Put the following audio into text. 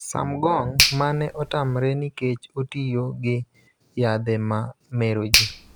Sumgong, mane otamre nikech otiyo gi yadhe ma mero ji,